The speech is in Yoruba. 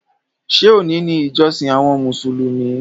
Ṣé òní ni ìjọsìn àwọn Mùsùlùmí?